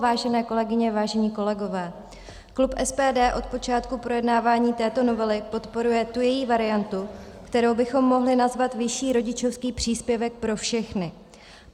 Vážené kolegyně, vážení kolegové, klub SPD od počátku projednávání této novely podporuje tu její variantu, kterou bychom mohli nazvat vyšší rodičovský příspěvek pro všechny.